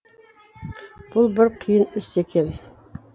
бұл бір қиын іс екен